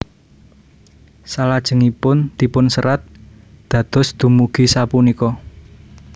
Salajengipun dipunserat dados dumugi sapunika